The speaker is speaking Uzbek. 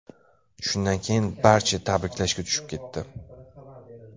Shundan keyin barcha tabriklashga tushib ketdi.